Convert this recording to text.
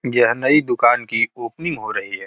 यह नई दुकान की ओपनिंग हो रही है |